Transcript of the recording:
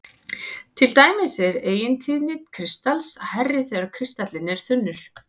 Til dæmis er eigintíðni kristals hærri þegar kristallinn er þunnur.